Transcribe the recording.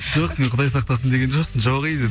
жоқ мен құдай сақтасын деген жоқпын жоқ ей дедім